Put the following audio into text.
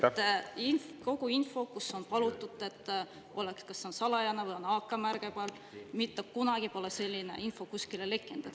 Selline info, mille puhul on palutud, et see oleks kas salajane või seal oleks AK-märge peal, pole mitte kunagi kuskile lekkinud.